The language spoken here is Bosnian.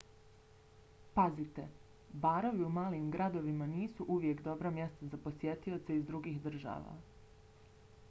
pazite - barovi u malim gradovima nisu uvijek dobra mjesta za posjetioce iz drugih država